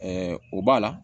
o b'a la